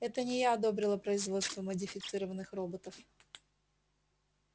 это не я одобрила производство модифицированных роботов